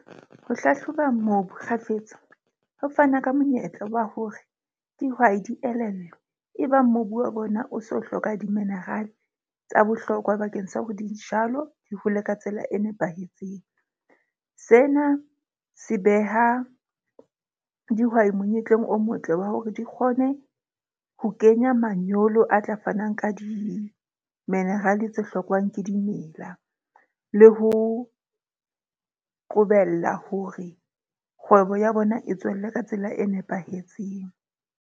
Ho hlahloba mobu kgafetsa ho fana ka monyetla wa hore dihwai di elellwe e bang mobu wa bona o so hloka di-mineral-e tsa bohlokwa bakeng sa hore dijalo di hole ka tsela e nepahetseng. Sena se beha dihwai monyetleng o motle wa hore di kgone ho kenya manyolo a tla fanang ka di-mineral-e tse hlokwang ke dimela, le ho qobella hore kgwebo ya bona e tswelle ka tsela e nepahetseng.